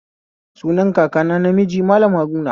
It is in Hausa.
Sunan kakana namiji Mallam Haruna